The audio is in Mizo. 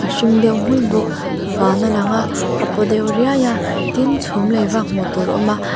hring deuh hmulh bawk van a lang a a paw deuh riai a tin chhum lei vak hmuh tur awm a